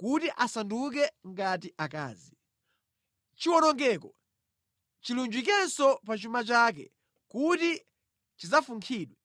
kuti asanduke ngati akazi. Chiwonongeko chilunjikenso pa chuma chake kuti chidzafunkhidwe.